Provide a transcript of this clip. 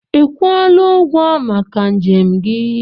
Ị kwụọla ụgwọ maka njem gị?